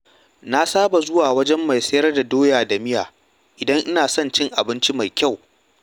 Na saba zuwa wajen mai sayar da doya da miya idan ina son cin abinci mai kyau.